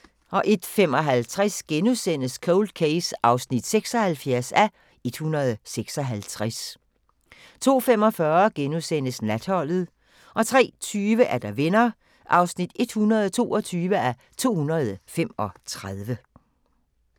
01:55: Cold Case (76:156)* 02:45: Natholdet * 03:20: Venner (122:235)